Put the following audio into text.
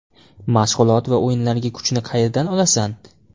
Mashg‘ulot va o‘yinlarga kuchni qayerdan olasan?